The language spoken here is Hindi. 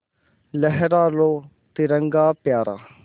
लहरा लो तिरंगा प्यारा